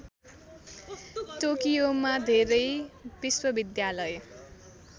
टोकियोमा धेरै विश्वविद्यालय